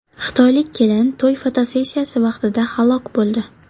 Xitoylik kelin to‘y fotosessiyasi vaqtida halok bo‘ldi.